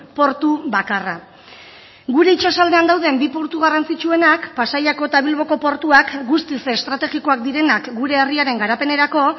portu bakarra gure itsasaldean dauden bi puntu garrantzitsuenak pasaiako eta bilboko portuak guztiz estrategikoak direnak gure herriaren garapenerako